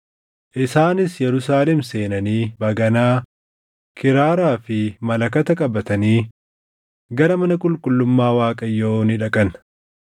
Isaanis Yerusaalem seenanii baganaa, kiraaraa fi malakata qabatanii gara mana qulqullummaa Waaqayyoo ni dhaqan.